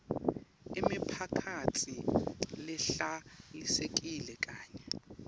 imiphakatsi lehlalisekile kanye